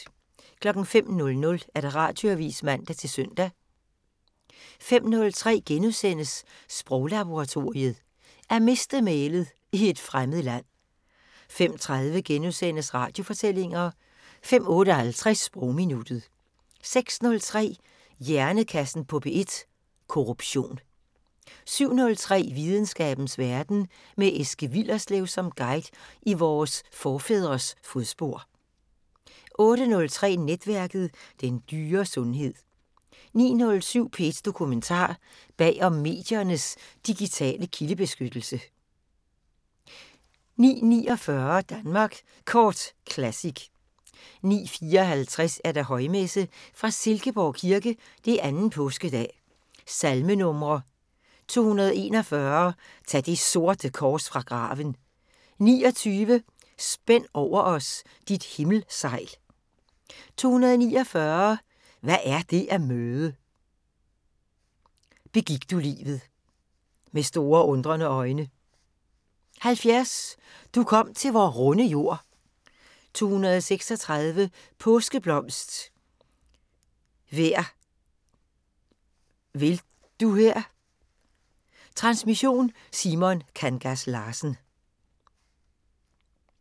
05:00: Radioavisen (man-søn) 05:03: Sproglaboratoriet: At miste mælet - i et fremmed land * 05:30: Radiofortællinger * 05:58: Sprogminuttet 06:03: Hjernekassen på P1: Korruption 07:03: Videnskabens Verden: Med Eske Willerslev som guide i vores forfædres fodspor 08:03: Netværket: Den dyre sundhed 09:07: P1 Dokumentar: Bag om mediernes digitale kildebeskyttelse 09:49: Danmark Kort Classic 09:54: Højmesse - Fra Silkeborg Kirke. 2. Påskedag. Salmenumre: 241: "Tag det sorte kors fra graven". 29: "Spænd over os dit himmelsegl". 249: "Hvad er det at møde". "Begik du livet". "Med store undrende øjne". 70: "Du kom til vor runde jord". 236: "Påskeblomst hver vil du her". Transmission: Simon Kangas Larsen.